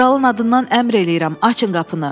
Kralın adından əmr eləyirəm, açın qapını.